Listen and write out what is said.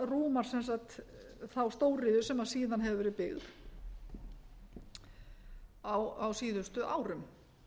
rúmar sem sagt þá stóriðju sem síðan hefur verið byggð síðustu árum